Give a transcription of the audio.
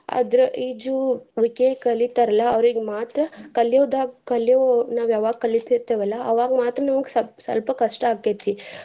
ಆದ್ರ ಈಜುವಿಕೆ ಕಲಿತಾರಲ್ಲ ಅವ್ರೀಗ್ ಮಾತ್ರ ಕಲಿಯೋದಾಗ್ ಕಲಿಯೋ ನಾವ್ ಯಾವಾಗ್ ಕಲಿತಿರ್ತಿವಲ್ಲ ಅವಾಗ್ ಮಾತ್ರ ನಮ್ಗ ಸಪ~ ಸ್ವಲ್ಪ ಕಷ್ಟ ಆಕೆತಿ.